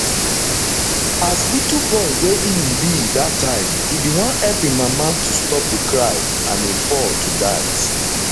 as little boy wey im be dat time e bin wan help im mama to stop di cry and e fall to dat